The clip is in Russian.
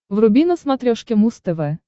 вруби на смотрешке муз тв